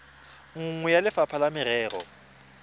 nngwe ya lefapha la merero